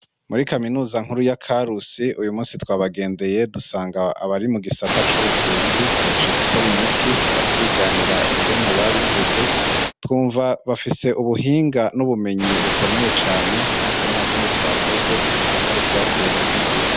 Muri kaminuza nkuru ya Karusi uyu musi twabagendeye dusanga abari mu gisata c'ubuvuzi bahejeje gukora imiti, baratwiganira ingene babikoze twumva bafise ubuhinga n'ubumenyi bukomeye cane, natwe nta kindi twakoze atari ukubatera intege.